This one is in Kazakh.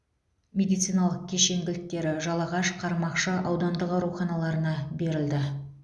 медициналық кешен кілттері жалағаш қармақшы аудандық ауруханаларына берілді